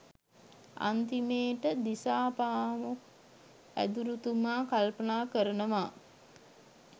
අන්තිමේට දිසාපාමොක් ඇදුරුතුමා කල්පනා කරනවා